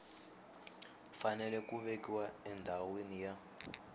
fanele ku vekiwa endhawini ya